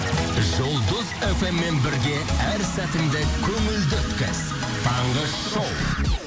жұлдыз фм мен бірге әр сәтіңді көңілді өткіз таңғы шоу